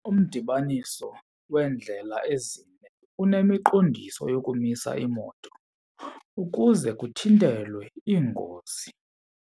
Umdibaniso weendlela ezine unemiqondiso yokumisa iimoto ukuze kuthintelwe iingozi.